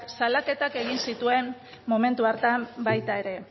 salaketak egin zituen momentu hartan baita ere